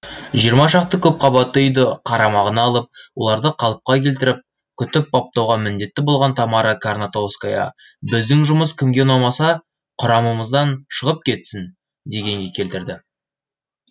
жиырма шақты көпқабатты үйді қарамағына алып оларды қалыпқа келтіріп күтіп баптауға міндетті болған тамара карнатовская біздің жұмыс кімге ұнамаса құрамымыздан шығып кетсін дегенге келтірді